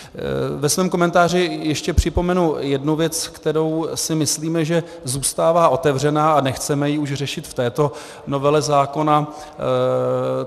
Ve svém komentáři ještě připomenu jednu věc, kterou si myslíme, že zůstává otevřená, a nechceme ji už řešit v této novele zákona.